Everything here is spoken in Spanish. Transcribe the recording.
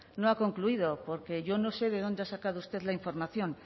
no ha concluido porque yo no sé de dónde ha sacado usted la información